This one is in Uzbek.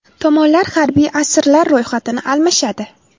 Tomonlar harbiy asirlar ro‘yxatini almashadi.